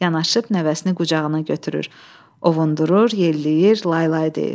Yanaşıb nəvəsini qucağına götürür, ovundurur, yelləyir, laylay deyir.